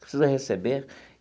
Preciso receber.